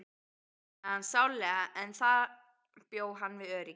Hún saknaði hans sárlega en þar bjó hann við öryggi.